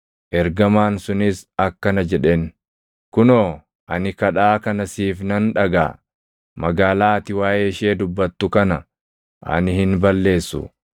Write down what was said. Ergamaan sunis akkana jedheen; “Kunoo, ani kadhaa kana siif nan dhagaʼa; magaalaa ati waaʼee ishee dubbattu kana ani hin balleessu.